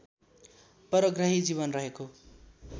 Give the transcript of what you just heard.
परग्रही जीवन रहेको